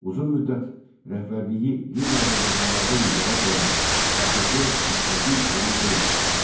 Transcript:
Uzun müddət rəhbərliyi qeyri-azərbaycanlılardan ibarət olan AKP müstəqil qurum deyildi.